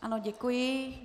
Ano, děkuji.